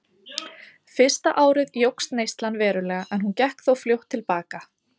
Fyrsta árið jókst neyslan verulega en hún gekk þó fljótt til baka.